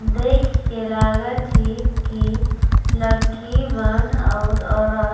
देख के लागत हे कि लड़की मन और औरत --